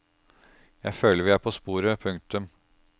Jeg føler vi er på sporet. punktum